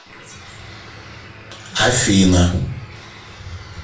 афина